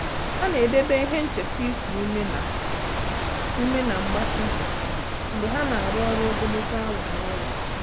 Há nà-èdèbè ihe ncheta íkù úmé na úmé na gbatịa mgbe há nà-árụ́ ọ́rụ́ ogologo awa n’ụ́lọ́.